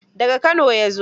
Da ga Kano ya zo.